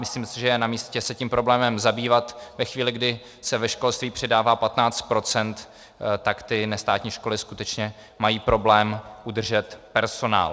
Myslím si, že je namístě se tím problémem zabývat ve chvíli, kdy se ve školství přidává 15 %, tak ty nestátní školy skutečně mají problém udržet personál.